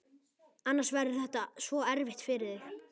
Annars verður þetta svo erfitt fyrir þig.